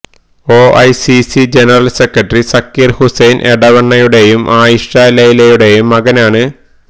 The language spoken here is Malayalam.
O I C C general secretary Zakir Hussain എടവണ്ണയുടെയും ആയിഷ ലൈലയുടെയും മകനാണ്